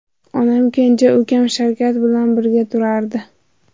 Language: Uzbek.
Onam kenja ukam Shavkat bilan birga turardi.